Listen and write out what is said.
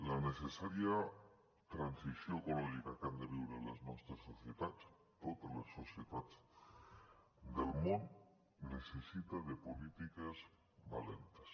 la necessària transició ecològica que han de viure les nostres societats totes les societats del món necessita de polítiques valentes